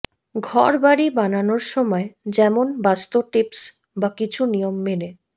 ঘর বাড়ি বানানোর সময় যেমন বাস্তু টিপস বা কিছু নিয়ম মেনে